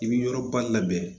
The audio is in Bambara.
I bɛ yɔrɔba labɛn